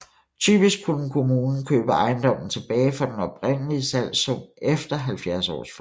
Typisk kunne kommunen købe ejendommen tilbage for den oprindelige salgssum efter 70 års forløb